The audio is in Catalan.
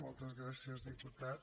moltes gràcies diputat